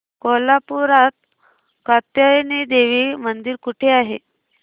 कोल्हापूरात कात्यायनी देवी मंदिर कुठे आहे